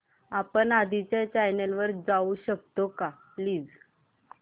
आपण आधीच्या चॅनल वर जाऊ शकतो का प्लीज